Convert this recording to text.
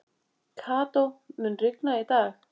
Kató, mun rigna í dag?